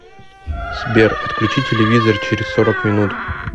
сбер отключи телевизор через сорок минут